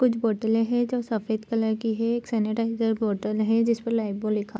कुछ बोतलें हैं जो सफ़ेद कलर की हैं एक सेनीटाईजर बोतल है जिस पर लाइफबॉय लिखा --